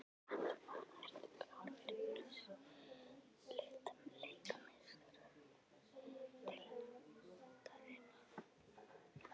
Láttu vaða- Ertu klár fyrir úrslitaleik Meistaradeildarinnar?